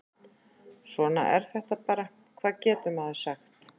Svona er þetta bara, hvað getur maður sagt?